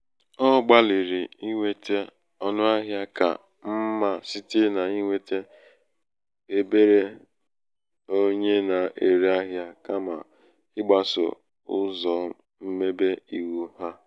ọ gbalị̀rị̀ inwetē ọnụahịā ka mmā site n’inwete um èberè onye na-ere ahịa kàmà i̩gbasò um ụzọ̀ mmebe iwu um ha.